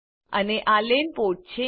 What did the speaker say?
અને આ LAN port છે